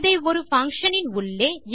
இதை ஒரு பங்ஷன் இன் உள்ளே